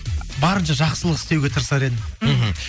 барынша жақсылық істеуге тырысар едім мхм